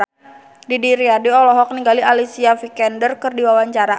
Didi Riyadi olohok ningali Alicia Vikander keur diwawancara